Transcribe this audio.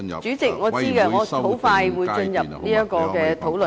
主席，我知道，我很快會進入有關討論。